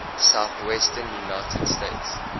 southwestern united states